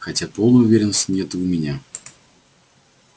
хотя полной уверенности нет и у меня